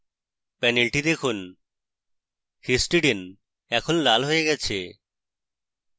panel দেখুন histidine এখন লাল হয়ে গেছে